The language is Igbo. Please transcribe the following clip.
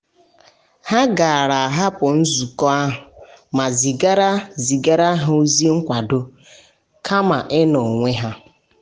ha gara ahapụ nzukọ ahụ ma zigaara zigaara ozi nkwado kama inọ onwe ha.